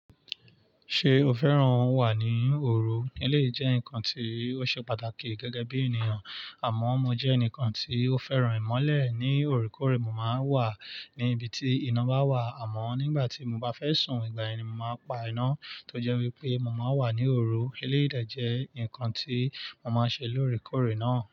Ṣé o fẹ́ràn wà ní òru? Ilé jẹ́ nǹkan tí ó ṣe pàtàkì gẹ́gẹ́ bí ènìyàn. Àmọ́ mo jẹ́ ẹnìkan tí ó fẹ́ràn ìmọ́lẹ̀. Ni óòrèkóòrè, mò máa ń wà ní ibi tí iná bá wà àmọ́ nígbà tí mo bá fẹ́ sùn, ìgbà ẹni mò máa ń pa iná tó jẹ́ wípé mò máa wà ní òru. Ilé-ìdà jẹ́ nǹkan tí mò máa ń ṣe lóòrèkóòrè náà.